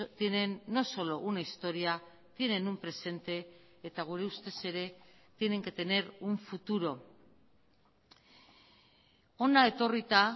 tienen no solo una historia tienen un presente eta gure ustez ere tienen que tener un futuro hona etorrita